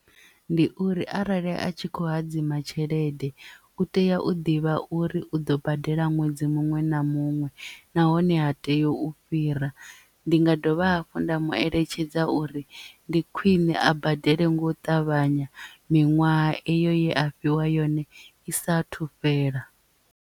Ndi uri arali a tshi khou hadzima tshelede u tea u ḓivha uri u ḓo badela ṅwedzi muṅwe na muṅwe nahone ha tei u fhira ndi nga dovha hafhu nda mu eletshedza uri ndi khwiṋe a badele nga u ṱavhanya miṅwaha eyo ye a fhiwa yone i saathu fhela.